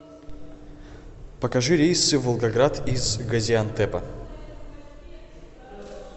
покажи рейсы в волгоград из газиантепа